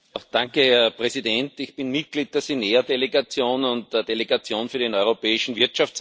Herr Präsident! Ich bin Mitglied der SINEEA Delegation und der Delegation für den Europäischen Wirtschaftsraum.